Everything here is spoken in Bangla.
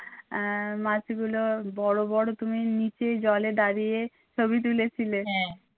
আহ মাছগুলো বড় বড় তুমি নিচে জলে দাড়িয়ে ছবি তুলেছিলে